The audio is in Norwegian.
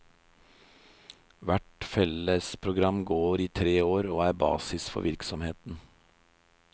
Hvert fellesprogram går i tre år og er basis for virksomheten.